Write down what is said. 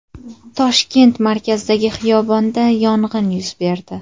Toshkent markazidagi xiyobonda yong‘in yuz berdi.